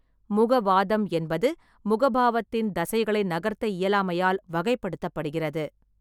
முக வாதம் என்பது முகபாவத்தின் தசைகளை நகர்த்த இயலாமையால் வகைப்படுத்தப்படுகிறது.